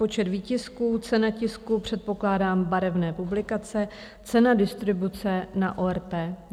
Počet výtisků, cena tisku, předpokládám barevné publikace, cena distribuce na ORP.